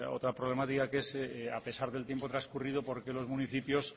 otra problemática que es a pesar del tiempo transcurrido porque los municipios